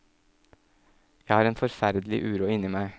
Jeg har en forferdelig uro inni meg.